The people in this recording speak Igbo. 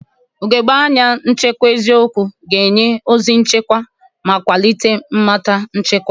Ugogbe anya nchekwa eziokwu ga-enye ozi nchekwa ma kwalite mmata nchekwa.